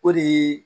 O de ye